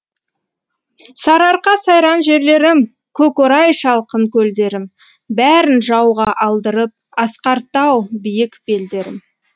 сарыарқа сайран жерлерім көк орай шалғын көлдерім бәрін жауға алдырып асқар тау биік белдерім